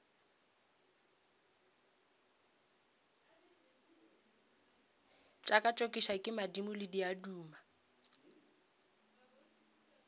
tšokatšokišwe ke madimo le diaduma